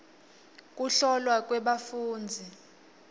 kuhlolwa kwebafundzi